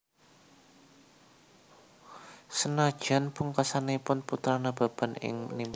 Senadyan pungkasanipun Putra Nababan ingkang mimpang